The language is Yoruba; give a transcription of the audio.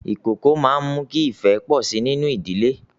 Ìkókó a máa mú kí ifẹ́ pọ sí nínú ìdílé